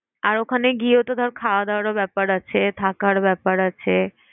আর ওখানে গিয়েওতো ধর খাওয়া দাওয়ারও ব্যাপার আছে, থাকার ব্যাপার আছে।